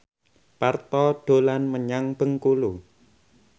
Parto dolan menyang Bengkulu